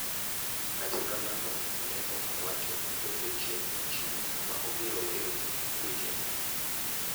Kata kamano ne ok owacho odiochieng' aching' ma obiro weyo weche nguech.